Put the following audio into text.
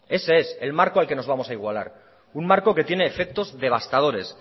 ese es el marco al que nos vamos a igualar un marco que tiene efectos devastadores